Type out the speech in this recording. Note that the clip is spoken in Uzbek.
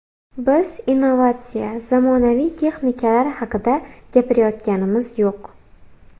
Biz innovatsiya, zamonaviy texnikalar haqida gapirayotganimiz yo‘q.